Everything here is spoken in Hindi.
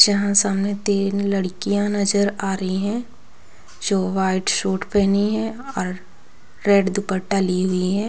यहा सामने तीन लड़किया नजर आ रही है। जो वाइट सूट पहनी है और रेड दुपट्टा ली हुई है।